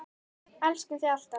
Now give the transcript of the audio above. Elskum þig alltaf.